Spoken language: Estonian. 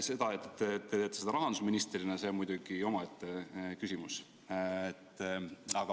See, et teie seda rahandusministrina teete, on muidugi omaette küsimus.